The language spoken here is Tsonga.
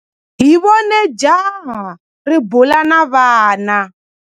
Hi vone jaha ri bula na vana.